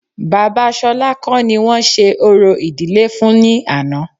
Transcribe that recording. Bàbá Ṣolá kọ́ ni wọ́n ṣe orò ìdílé fún ní àná